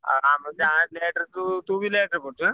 ଆଉ ଆମେ ଯାହା late ରେ ସବୁ ତୁ ବି late ରେ ପଢିଚୁ ଆଁ?